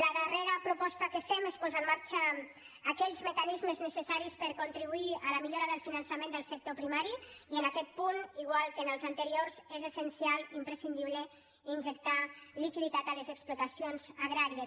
la darrera proposta que fem és posar en marxa aquells mecanismes necessaris per contribuir a la millora del finançament del sector primari i en aquest punt igual que en els anteriors és essencial i imprescindible in·jectar liquiditat a les explotacions agràries